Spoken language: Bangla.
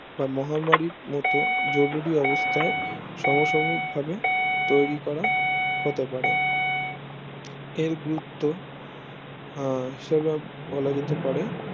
মহামারীর মত জরুরি অবস্থায় সমসগিক ভাবে তৈরি করা হতে পারে এর গুরুত্ব আহ হিসাবে বলা যেতে পারে